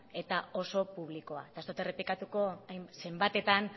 eta oso publikoa eta ez dot errepikatuko zenbatetan